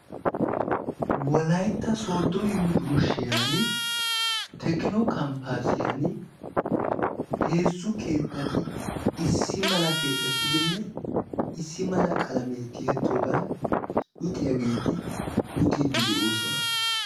wolaytta soodo yunburshiyani tekino kampaasiyani heezzu keettati issi mala keexettidanne issi mala qalamee tiyettidoogan luxxiyaageeti luxiidi de'oosona.